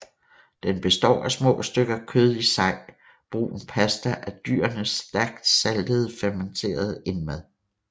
Den består af små stykker kød i sej brun pasta af dyrenes stærkt saltede fermenterede indmad